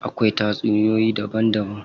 Akwai tatsuniyoyi daban daban.